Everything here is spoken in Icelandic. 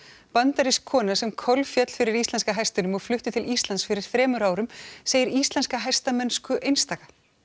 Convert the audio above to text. bandarísk kona sem kolféll fyrir íslenska hestinum og flutti til Íslands fyrir þremur árum segir íslenska hestamennsku einstaka